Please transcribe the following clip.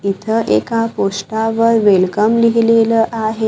इथं एका पोस्टर वर वेलकम लिहिलेलं आहे.